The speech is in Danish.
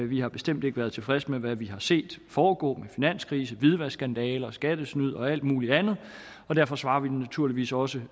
vi har bestemt ikke været tilfredse med hvad vi har set foregå med finanskrise hvidvaskskandaler skattesnyd og alt muligt andet og derfor svarer vi naturligvis også